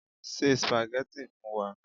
Ṣé spaghetti fún wa